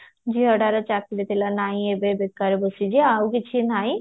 ଝିଅଟାର ଚାକିରି ଥିଲା ନାଇଁ ଏବେ ବେକାରେ ବସିଛି ଆଉ କିଛି ନାଇଁ